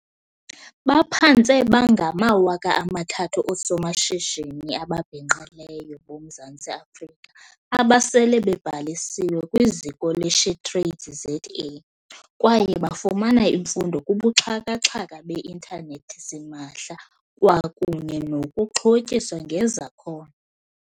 Baphantse babe ngama-3 000 oosomashishini ababhinqileyo boMzantsi Afrika abasele bebhalisiwe kwiZiko le-SheTradesZA kwaye bafumana imfundo kubuxhaka-xhaka be intanethi simahla kwakunye nokuxhotyiswa ngezakhono.